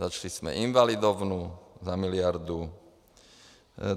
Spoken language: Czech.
Začali jsme Invalidovnu za miliardu.